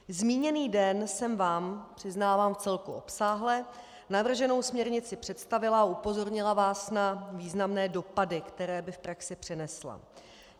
Zmíněný den jsem vám, přiznávám vcelku obsáhle, navrženou směrnici představila a upozornila vás na významné dopady, které by v praxi přinesla.